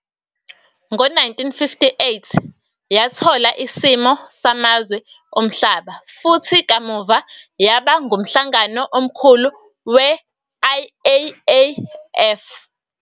Ngo-1958 yathola isimo samazwe omhlaba futhi kamuva yaba ngumhlangano omkhulu we-IAAF.